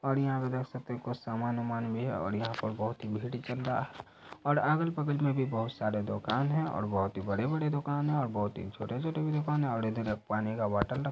और यहाँ पे देख सकते है कुछ सामान-वमान भी है और यहाँ पर बहुत ही भीड़ चल रहा है और अगल-बगल में भी बहुत सारे दुकान है और बहुत ही बड़े-बड़े दुकान है और बहुत ही छोटे-छोटे भी दुकान है और इधर एक पानी का बॉटल रखा --